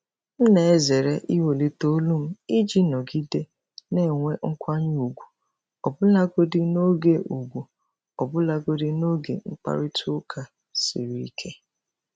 M na-ezere iwelite olu m iji nọgide na-enwe nkwanye ùgwù ọbụlagodi n’oge ùgwù ọbụlagodi n’oge mkparịta ụka siri ike.